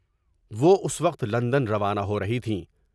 وہ اس وقت لندن روانہ ہورہی تھیں ۔